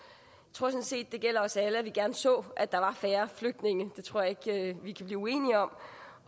sådan set det gælder os alle at vi gerne så at der var færre flygtninge det tror jeg ikke vi kan blive uenige om